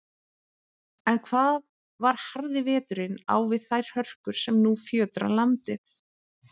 En hvað var harði veturinn á við þær hörkur, sem nú fjötra landið?